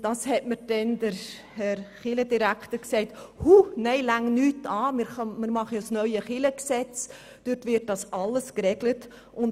Damals hat mir der Kirchendirektor gesagt, man solle ja nichts anrühren, es gebe ja bald ein neues Kirchengesetz, in welchem all dies geregelt würde.